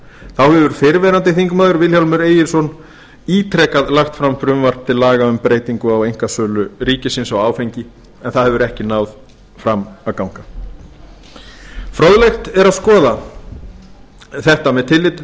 þá hefur fyrrverandi þingmaður vilhjálmur egilsson ítrekað lagt fram frumvarp til laga um breytingu á einkasölu ríkisins á áfengi en það hefur ekki náð fram að ganga fróðlegt er að skoða þetta með tilliti